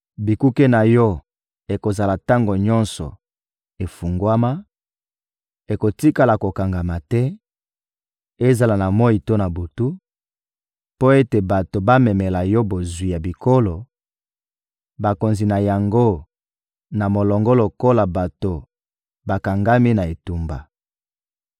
Bikuke na yo ekozala tango nyonso efungwama, ekotikala kokangama te, ezala na moyi to na butu, mpo ete bato bamemela yo bozwi ya bikolo, bakonzi na yango na molongo lokola bato bakangami na etumba.